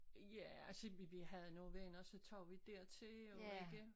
Ja altså vi vi havde nogen venner så tog vi dertil og var igen